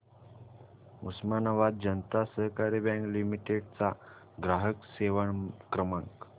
उस्मानाबाद जनता सहकारी bank limited चा ग्राहक सेवा क्रमांक